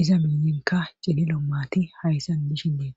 iza miiyenka cililo mati hayssan dishendeeta.